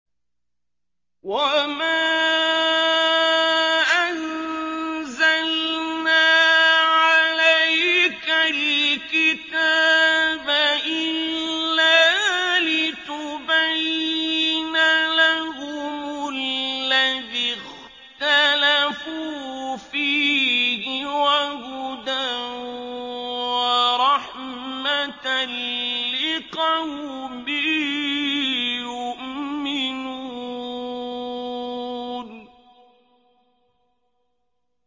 وَمَا أَنزَلْنَا عَلَيْكَ الْكِتَابَ إِلَّا لِتُبَيِّنَ لَهُمُ الَّذِي اخْتَلَفُوا فِيهِ ۙ وَهُدًى وَرَحْمَةً لِّقَوْمٍ يُؤْمِنُونَ